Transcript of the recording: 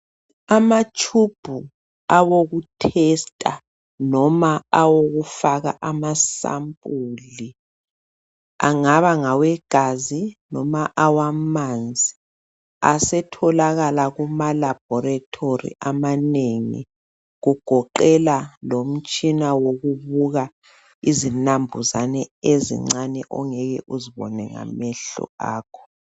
Amatshubhu awokuhlola noma awokufaka amasample angaba ngawe gazi noma awamanzi asetholakala kuma laboratory amanengi kugoqela lomtshina wokubuka izinambuzane ezincane ongeke uzibone ngamehlo akho.